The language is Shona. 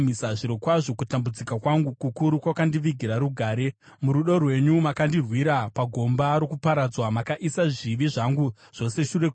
Zvirokwazvo kutambudzika kwangu kukuru kwakandivigira rugare. Murudo rwenyu makandirwira pagomba rokuparadzwa; makaisa zvivi zvangu zvose shure kwenyu,